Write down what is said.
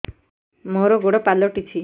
ମୋର ଗୋଡ଼ ପାଲଟିଛି